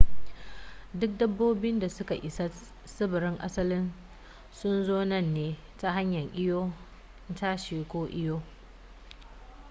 duk dabbobin da suka isa tsibirin asalin sun zo nan ne ta hanyar iyo tashi ko iyo